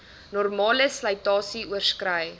normale slytasie oorskrei